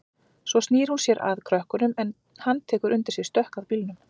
Svo snýr hún sér að krökkunum en hann tekur undir sig stökk að bílnum.